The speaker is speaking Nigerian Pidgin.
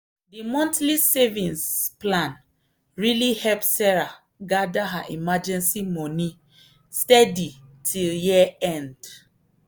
the monthly savings plan really help sarah gather her emergency money steady till year end.